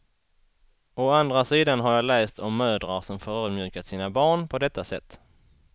Å andra sidan har jag läst om mödrar som förödmjukat sina barn på detta sätt.